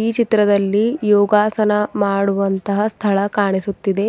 ಈ ಚಿತ್ರದಲ್ಲಿ ಯೋಗಾಸನ ಮಾಡುವಂತಹ ಸ್ಥಳ ಕಾಣಿಸುತ್ತಿದೆ